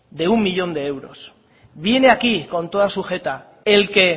de un millón de euros viene aquí con toda su jeta el que